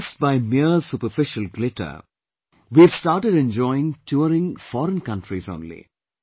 Impressed by mere superficial glitter we have started enjoying touring foreign countries only